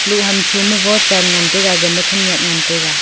loh ham tho ma vochen ngan taiga gama khenek ngai taiga.